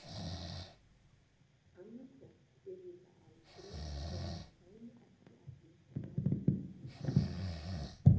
Annaðhvort yrði það aldrei eða það kæmi ekki að því nærri nærri strax.